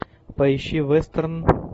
поищи вестерн